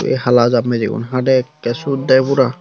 ei hala jam biji gun hadey ekkey sot dey pura.